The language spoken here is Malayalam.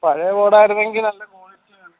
പഴയെ board ആണെങ്കിൽ നല്ല qualilty കാണും